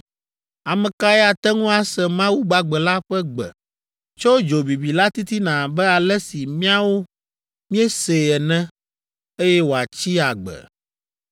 Ame kae ate ŋu ase Mawu gbagbe la ƒe gbe tso dzo bibi la titina abe ale si míawo míesee ene, eye wòatsi agbe?